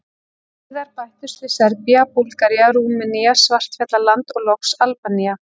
Síðar bættust við Serbía, Búlgaría, Rúmenía, Svartfjallaland og loks Albanía.